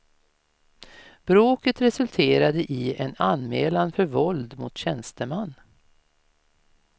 Bråket resulterade i en anmälan för våld mot tjänsteman.